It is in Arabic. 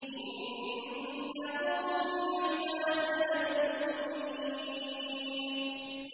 إِنَّهُ مِنْ عِبَادِنَا الْمُؤْمِنِينَ